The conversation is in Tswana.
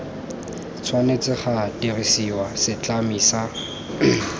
tshwanetse ga dirisiwa setlami sa